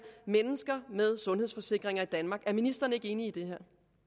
mennesker med sundhedsforsikringer i danmark er ministeren ikke enig i det